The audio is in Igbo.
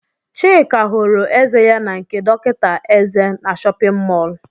Chika họrọ eze ya n' nke dọkịta eze nọ n'shóppin mol.